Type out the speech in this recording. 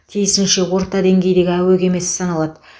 тиісінше орта деңгейдегі әуе кемесі саналады